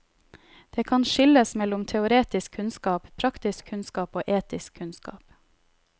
Det kan skilles mellom teoretisk kunnskap, praktisk kunnskap og etisk kunnskap.